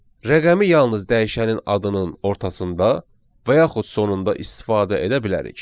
Rəqəmi yalnız dəyişənin adının ortasında və yaxud sonunda istifadə edə bilərik.